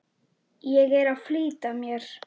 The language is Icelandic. Ég er að flýta mér!